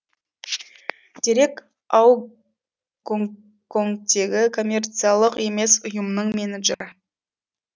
дерек ау гонконгтегі коммерциялық емес ұйымның менеджері